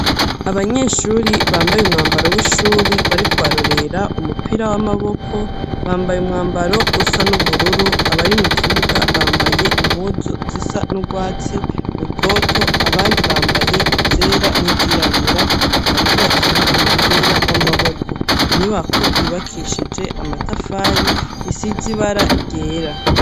Abanyeshuri bambaye umwambaro w'ishuri, bariko barorera umupira w'amaboko, bambaye umwambaro usa n'ubururu, abari mu kibuga bambaye impuzu zisa n'urwatsi rutoto, abandi bambaye izera n'izirabura, bariko bakina umupira w'amaboko; inyubako yubakishije amatafari, isize ibara ryera.